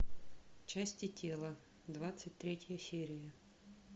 части тела двадцать третья серия